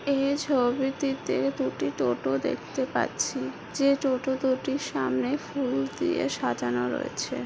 এই ছবিটিতে দুটি টোটো দেখতে পাচ্ছি যে টোটো দুটির সামনে ফুল দিয়ে সাজানো রয়েছে।